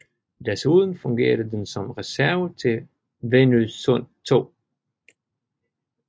Desuden fungerede den som reserve til Venøsund II